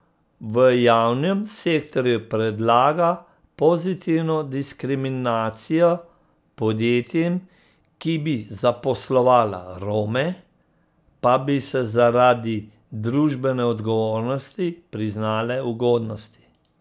V javnem sektorju predlaga pozitivno diskriminacijo, podjetjem, ki bi zaposlovala Rome, pa bi se zaradi družbene odgovornosti priznale ugodnosti.